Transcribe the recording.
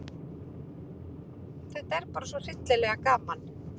Þetta er bara svo hryllilega gaman